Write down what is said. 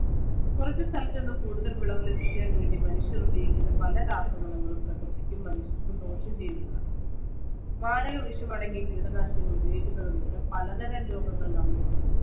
കുറച്ചു സ്ഥലത്തുനിന്നും കൂടുതല്‍ വിളവു ലഭിക്കാന്‍വേണ്ടി മനുഷ്യര്‍ ഉപയോഗിക്കുന്ന പല രാസവളങ്ങളും പ്രകൃതിക്കും മനുഷ്യര്‍ക്കും ദോഷംചെയ്യുന്നതാണ്. മാരകവിഷമടങ്ങിയ കീടനാശിനികള്‍ ഉപയോഗിക്കുന്നതുമൂലം പലതരം രോഗങ്ങള്‍ നമ്മെ പിടികൂടുന്നു.